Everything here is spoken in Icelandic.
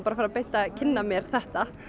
að fara beint að kynna mér þetta